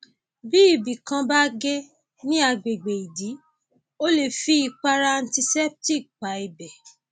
bí ibì kan bá gé ní agbègbè ìdí o lè fi ìpara anticeptic pa ibẹ